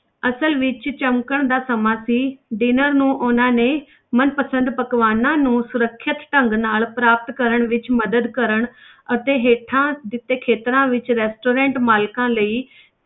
ਅਸਲ ਵਿੱਚ ਚਮਕਣ ਦਾ ਸਮਾਂ ਸੀ dinner ਨੂੰ ਉਹਨਾਂ ਨੇ ਮਨਪਸੰਦ ਪਕਵਾਨਾਂ ਨੂੰ ਸੁਰੱਖਿਅਤ ਢੰਗ ਨਾਲ ਪ੍ਰਾਪਤ ਕਰਨ ਵਿੱਚ ਮਦਦ ਕਰਨ ਅਤੇ ਹੇਠਾਂ ਦਿੱਤੇ ਖ਼ੇਤਰਾਂ ਵਿੱਚ restaurant ਮਾਲਕਾਂ ਲਈ